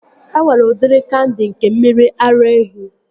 E nwere udiri kandi nke mmiri ara ehi